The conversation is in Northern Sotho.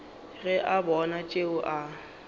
ge a bona tšeo a